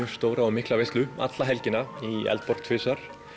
mikla veislu alla helgina í Eldborg tvisvar